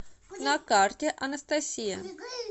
на карте анастасия